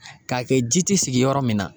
Ka kɛ ji ti sigi yɔrɔ min na